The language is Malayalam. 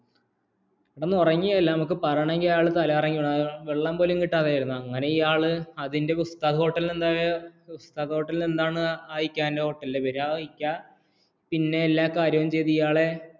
ഉറങ്ങിയില്ല നമ്മുക്ക് പറയണമെങ്കില്‍ അയാള്‍ തലകറങ്ങി വീണതാണ് വെള്ളം പോലും കിട്ടാതെ ആയിരുന്നോ അതിന്റെ ഹോട്ടലിന്‍റെ ഹോട്ടലിന്‍റെഎന്താ ആ ഇക്ക ഐക്കനാണ് ഹോട്ടലിന്‍റെപേര് പിന്നെ എല്ലാകര്യവും ചെയ്തു